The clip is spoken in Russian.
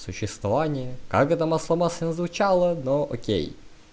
существование как это масло-масляно звучало но окей